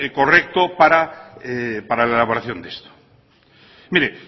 correcto para la elaboración de esto mire